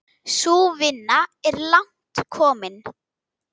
Sú vinna er langt komin.